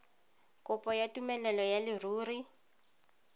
kopo ya tumelelo ya leruri